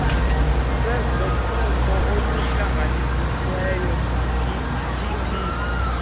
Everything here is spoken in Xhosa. lwezothutho oluhlanganisiweyo itp